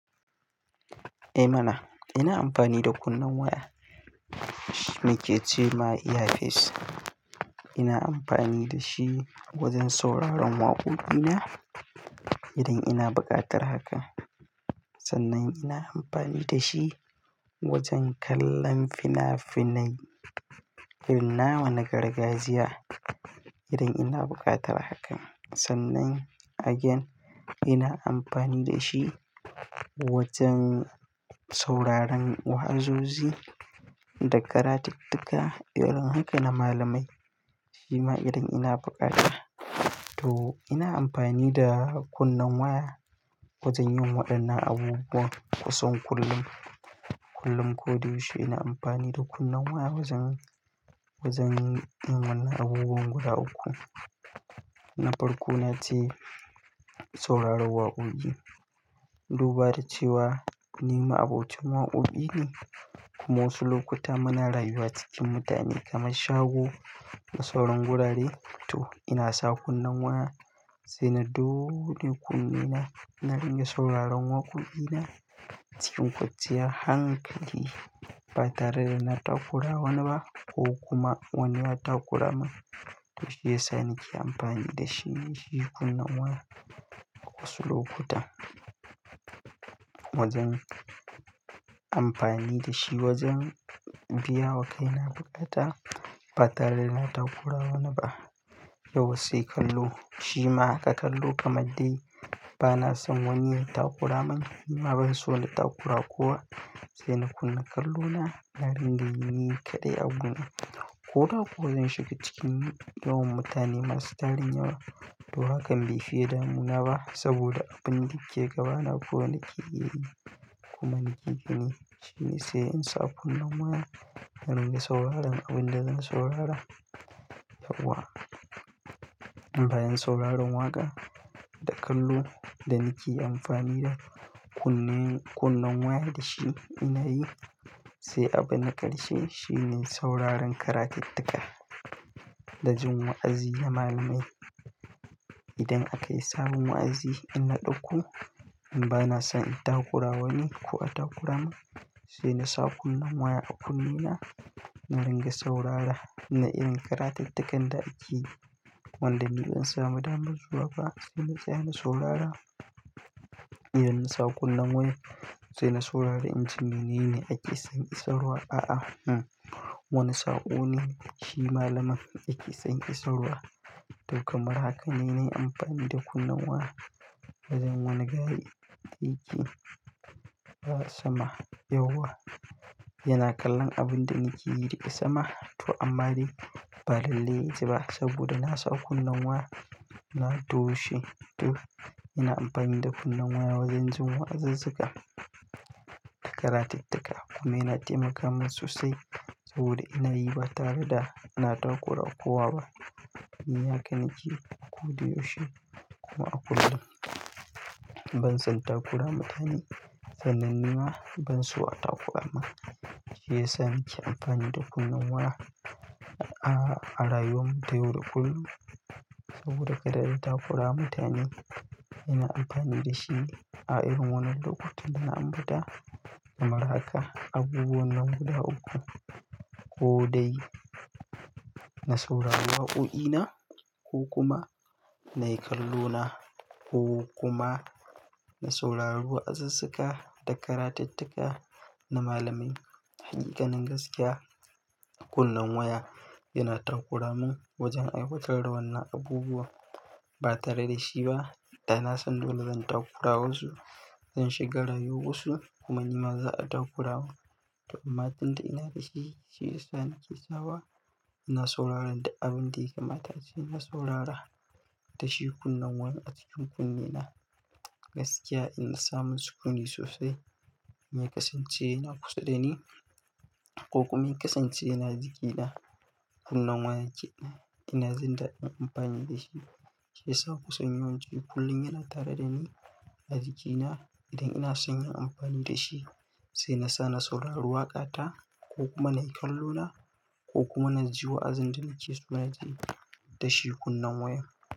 Eh mana, ina amfani da kunnen waya. Shi yake ce ma iya face. Ina amfani da shi wajen sauraron waƙoƙina idan ina buƙatar haka. Sannan ina amfani da shi wajen kallon fina-finai, fina wane gargajiya idan ina buƙatar hakan. Sannan again ina amfani da shi wajen sauraron wa'azoji da karatuttuka irin haka na malamai. Shi ma idan ina bukata. To ina amfani da kunnen waya wajen yin waɗannan abubuwan kusan kullum, kullum ko da yaushe ina amfani da kunnen waya wajen, wajen yin wannan abubuwan guda uku. Na farko na ce sauraron waƙoƙi. Duba da cewa ni ma abokin waƙoƙi ne kuma wasu lokuta muna rayuwa cikin mutane kamar shago na sauran gurare. To ina sa kunnen waya sai na dole kunne na na ringa sauraron waƙoƙina. Cikin kwanciyar hankali ba tare da na takura wani ba ko kuma wani ya takura min. To shiyasa nake amfani da shi, shi kunne waya. Wasu lokuta wajen amfani da shi wajen biya wa kai na bukata ba tare da na takura wani ba. Yau wassai kallo. Shi ma haka kallo kamar dai bana son wani ya takura min kuma ban so da takura kowa. Sai na kunna kallona na ringa yi ni kaɗai abun. Ko da ko zan shiga cikin yawon mutane masu tarihin yawa. To hakan bai fiye damina ba saboda abin da ke gaba na kowai na ƙe iya yi kuma na ƙi ƙi ne. Shi ne sai in sa kunne waya na ringa sauraron abin da zan saurara. Yauwa. Amban yin sauraron waƙa da kallo da nake amfani da kunne, kunnen waya da shi ina yi sai abin na ƙarshe shi ne sauraron karatuttuka da jin wa'azi na malamai. Idan aka yi sabon wa'azi ina ɗauko in ba na son in takura wani ko a takura min. Sai na sa kunne waya a kunne na na ringa saurara. Ina iya karatuttukan da ake. Wanda ni in samu damar zuwa ba sai na ce na saurara. Idan na sa kunne waya sai na saurari inji menene ake son in saurara, a'a, mm wani sa'o ne shi malamin yake son in saurara. To kamar haka ne na yi amfani da kunne waya wajen wane gari yake a sama yauwa. Yana kallon abin da nake yi yake sama. To amma dai ba lalle yanzu ba saboda na sa kunne waya na to she. To ina amfani da kunne waya wajen jin wa'azuzzuka da karatuttuka kuma yana taimaka min sosai saboda ina yi ba tare da ina takora kowa ba. Ni haka nake ko da yaushe kuma a kullum. Ban son takora mutane sannan ni ma ban so a takora min. Shiyasa nake amfani da kunnen waya a, a rayuwar mu ta yau da kullum. Saboda kada da takora mutane. Ina amfani da shi a irin wannan lokuta bana ambata. Kamar haka abubuwan nan guda uku ko dai na sauraron waƙoƙina ko kuma na yi kallo na ko kuma na sauraron wa'azuzzuka da karatuttuka na malamai. Hakika nan gaskiya kunnen waya yana takora min wajen aiwatar da wannan abubuwa ba tare da shi ba. Da na san dole zan takura wasu, zan shiga rayuwar wasu kuma ni ma za a takura mu. To amma abin da ina da shi shi ne sai nake sawa ina saurara da abin da ya kamata ce na saurara da shi kunnen waya a cikin kunne na. Gaskiya in na samu sukundi sosai mai kasance yana kusa da ni ko kuma mai kasance yana jikina. Kunnen waya ke, ina zanda in amfani da shi. Shi ya sa kusan yawan ci kullum yana tare da ni a jikina idan ina son yin amfani da shi. Sai na sa na saurari waƙa ta ko kuma na yi kallo na ko kuma na ji wa'azin da nake so na ji da shi kunnen waya.